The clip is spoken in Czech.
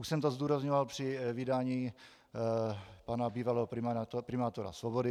Už jsem to zdůrazňoval při vydání pana bývalého primátora Svobody.